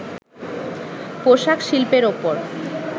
পোশাক শিল্পের ওপর